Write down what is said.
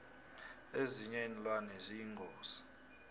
ezinye iinlwane ziyingozi